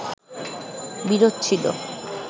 বিরোধ ছিলো